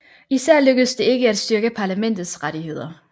Især lykkedes det ikke at styrke parlamentets rettigheder